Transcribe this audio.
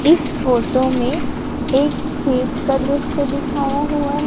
इस फोटो में एक स्वीट का दृश्य दिखाया हुआ है।